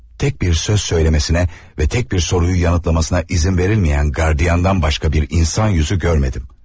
Tek bir söz söylemesine ve tek bir soruyu yanıtlamasına izin verilmeyen gardiyandan başka bir insan yüzü görmedim.